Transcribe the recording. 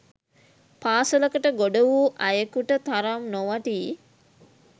පාසලකට ගොඩ වූ අයෙකුට තරම් නොවටී